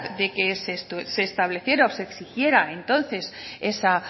de que se estableciera o se exigiera entonces esa